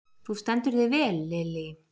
Þú stendur þig vel, Lily!